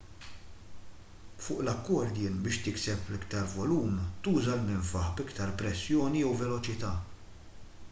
fuq l-accordion biex tikseb iktar volum tuża l-minfaħ b'iktar pressjoni jew veloċità